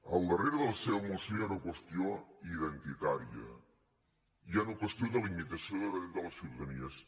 al darrere de la seva moció hi ha una qüestió identitària hi ha una qüestió de limitació de drets de la ciutadania